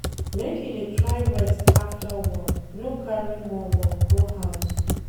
Make you dey try rest after work, no carry more work go house.